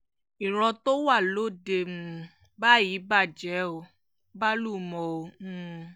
ìran tó wà lóde um báyìí bàjẹ́ ò bàlùmọ̀ o um